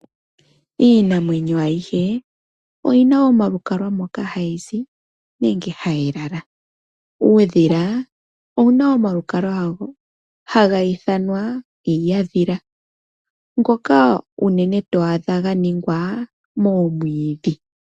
Iinamwenyo ayihe oyina omalukalwa moka hayi zi nenge hayi lala. Uudhila owuna omalukalwa gawo haga ithanwa iihaadhila ngoka unene to adha ganingwa moomwiidhi.